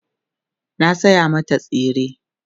na saya mata tsire